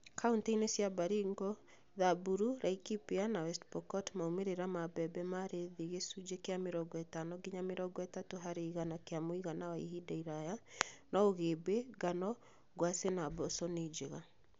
Kauntĩ-inĩ cia Baringo, Samburu, Laikipia na West Pokot maumĩrĩra ma mbembe mari thĩ (gĩcunjĩ kĩa mĩrongo ĩtano nginya mĩrongo ĩtatũ harĩ igana kĩa mũigana wa ihinda iraya) no ũgĩmbĩ, ngano, ngwacĩ na mboco nĩnjega